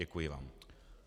Děkuji vám.